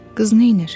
Qız neynir?